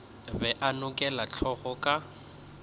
be a nokela hlogo ka